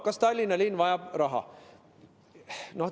Kas Tallinna linn vajab raha?